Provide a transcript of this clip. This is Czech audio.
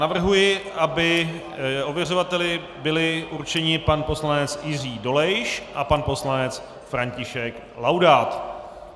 Navrhuji, aby ověřovali byli určeni pan poslanec Jiří Dolejš a pan poslanec František Laudát.